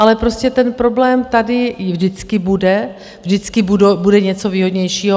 Ale prostě ten problém tady vždycky bude, vždycky bude něco výhodnějšího.